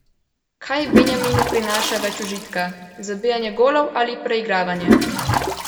Kaj Benjaminu prinaša več užitka, zabijanje golov ali preigravanja?